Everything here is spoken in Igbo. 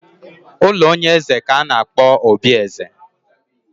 Ụlọ onye eze ka a na-akpọ obi eze